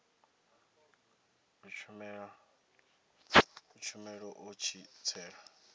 a tshumelo a tshi tsela